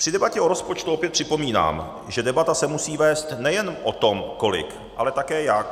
Při debatě o rozpočtu opět připomínám, že debata se musí vést nejen o tom kolik, ale také jak.